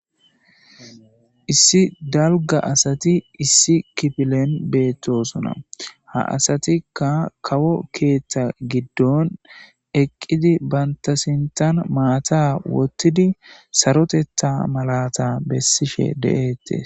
Issi dalgga asati issi kipilen bettosona. Ha asatikka kawo keeththa giddon eqidi bantta sinththen maatta woththidi saroteththa malata besishe de'etees.